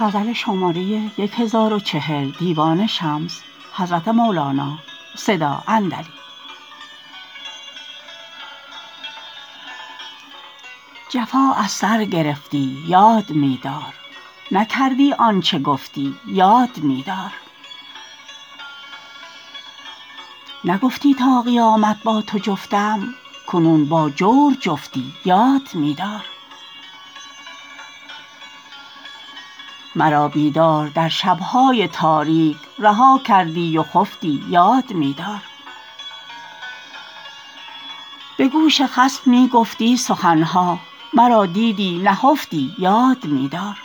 جفا از سر گرفتی یاد می دار نکردی آن چه گفتی یاد می دار نگفتی تا قیامت با تو جفتم کنون با جور جفتی یاد می دار مرا بیدار در شب های تاریک رها کردی و خفتی یاد می دار به گوش خصم می گفتی سخن ها مرا دیدی نهفتی یاد می دار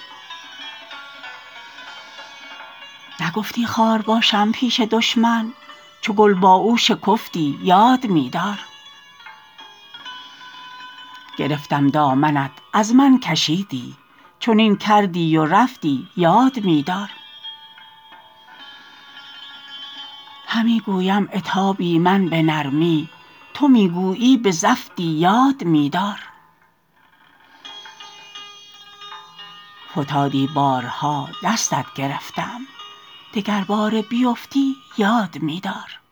نگفتی خار باشم پیش دشمن چو گل با او شکفتی یاد می دار گرفتم دامنت از من کشیدی چنین کردی و رفتی یاد می دار همی گویم عتابی من به نرمی تو می گویی به زفتی یاد می دار فتادی بارها دستت گرفتم دگرباره بیفتی یاد می دار